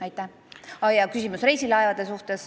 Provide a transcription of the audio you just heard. Ahjaa, küsimus oli reisilaevade kohta.